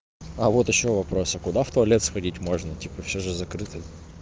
а вот ещё вопрос а куда в туалет сходить можно типа все же закрыто